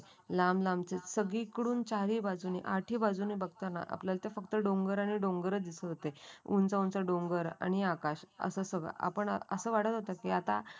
लांब लांब सगळी करून चारी बाजूनी अटी बाजूने बघताना फक्त आपल्याला डोंगरी आणि डोंगर दिसत होते. उंच उंच डोंगर आणि आकाश असं सगळं असं वाटत होतं की आता लांब लांब